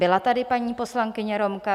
Byla tady paní poslankyně Romka.